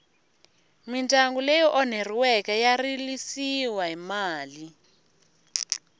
midyangu ityi onheriweke ya rilisiwa hi mali